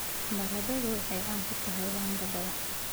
Baradhada waxay caan ku tahay wanga badan.